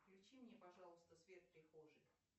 включи мне пожалуйста свет в прихожей